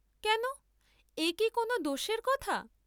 কেন, একি কোন দোষের কথা?